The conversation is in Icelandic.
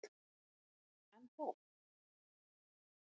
En bók?